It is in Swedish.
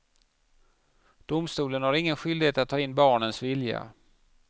Domstolen har ingen skyldighet att ta in barnens vilja.